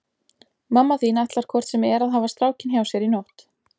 Mamma þín ætlar hvort sem er að hafa strákinn hjá sér í nótt.